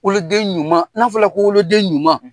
woloden ɲuman n'a fɔra ko wolo den ɲuman